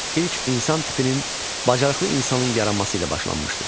İlk insan tipinin bacarıqlı insanın yaranması ilə başlanmışdır.